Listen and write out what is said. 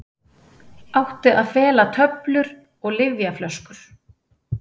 Átti að fela töflur og lyfjaflöskur